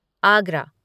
Agra